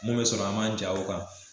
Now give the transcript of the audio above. Mun bɛ sɔrɔ a man ja o kan.